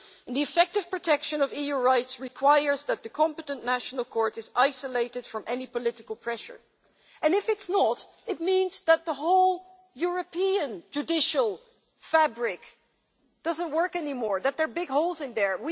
The effective protection of EU rights requires that the competent national court is isolated from any political pressure, and if it's not, it means that the whole European judicial fabric no longer works and that there are big holes in there.